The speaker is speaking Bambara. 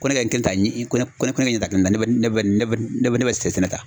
Ko ne ka kɛ tan i ko ne ko ne ka ɲɛtaga ne bɛ ne bɛ ne bɛ sɛgɛn ta